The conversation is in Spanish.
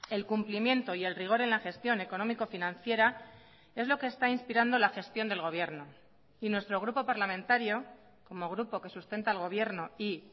el cumplimiento y el rigor en la gestión económico financiera es lo que está inspirando la gestión del gobierno y nuestro grupo parlamentario como grupo que sustenta al gobierno y